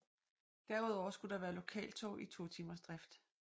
Derudover skulle der være lokaltog i totimersdrift